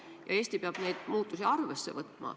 Ja Eesti peab neid muutusi arvesse võtma.